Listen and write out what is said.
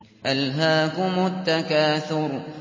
أَلْهَاكُمُ التَّكَاثُرُ